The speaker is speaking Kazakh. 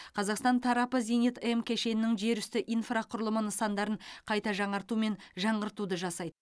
қазақстан тарапы зенит м кешенінің жерүсті инфрақұрылымы нысандарын қайта жаңарту мен жаңғыртуды жасайды